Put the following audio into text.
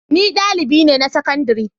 Ni dalibi ne na sakandare.